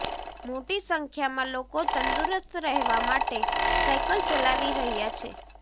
મોટી સંખ્યામાં લોકો તંદુરસ્ત રહેવા માટે સાઈકલ ચલાવી રહ્યા છે